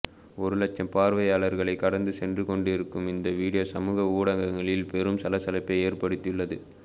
ஒரு லட்சம் பார்வைகளைக் கடந்து சென்றுக் கொண்டிருக்கும் இந்த வீடியோ சமூக ஊடகங்களில் பெரும் சலசலப்பை ஏற்படுத்தியுள்ளது